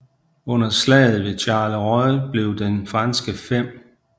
Under slaget ved Charleroi blev den franske 5